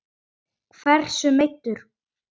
Hversu meiddur?